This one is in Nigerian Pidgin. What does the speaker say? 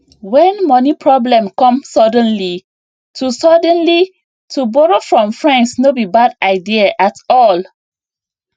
when money problem come suddenly to suddenly to borrow from friends no be bad idea at all